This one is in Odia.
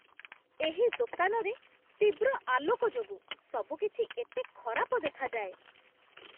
ଏହି ଦୋକାନରେ ତୀବ୍ର ଆଲୋକ ଯୋଗୁଁ ସବୁକିଛି ଏତେ ଖରାପ ଦେଖାଯାଏ